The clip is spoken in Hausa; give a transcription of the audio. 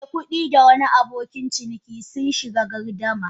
Mai kudi da wani abokin ciniki sun shiga gardama.